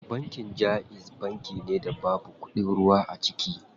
Banki jaiz banki da babu kuɗin ruwa a ciki.